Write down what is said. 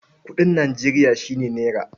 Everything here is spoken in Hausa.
Kuɗin Nijeriya shi ne nera.